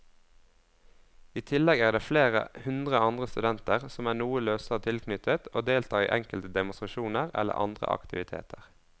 I tillegg er det flere hundre andre studenter som er noe løsere tilknyttet og deltar i enkelte demonstrasjoner eller andre aktiviteter.